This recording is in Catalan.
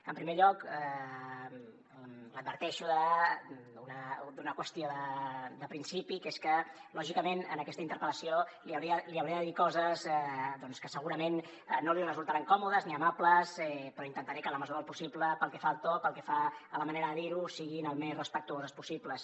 en primer lloc l’adverteixo d’una qüestió de principi que és que lògicament en aquesta interpel·lació li hauré de dir coses doncs que segurament no li resultaran còmodes ni amables però intentaré que en la mesura del possible pel que fa al to pel que fa a la manera de dir ho siguin el més respectuoses possible